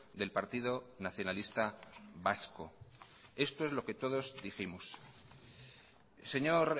del partido nacionalista vasco esto es lo que todos dijimos señor